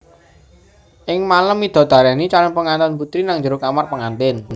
Ing malem midodareni calon pengantin putri nang jero kamar pengantin